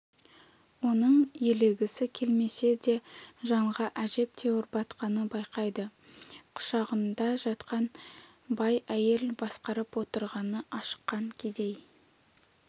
оны елегісі келмесе де жанға әжептәуір батқанын байқайды құшағында жатқан бай әйел басқарып отырғаны ашыққан кедей